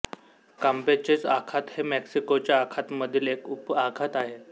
कांपेचेचे आखात हे मेक्सिकोच्या आखातामधील एक उपआखात आहे